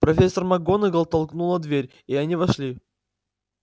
профессор макгонагалл толкнула дверь и они вошли